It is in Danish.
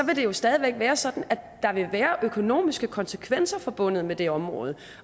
vil det jo stadig væk være sådan at der vil være økonomiske konsekvenser forbundet med det område